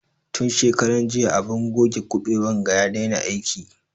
Tun shekaran jiya abun goge kuɓewan ga ya daina aiki